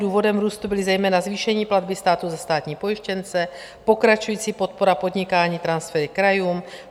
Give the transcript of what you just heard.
Důvodem růstu byly zejména zvýšené platby státu za státní pojištěnce, pokračující podpora podnikání, transfery krajům.